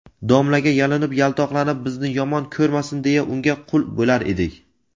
Domlaga yalinib yaltoqlanib bizni yomon ko‘rmasin deya unga qul bo‘lar edik.